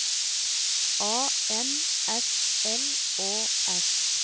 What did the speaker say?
A N S L Å S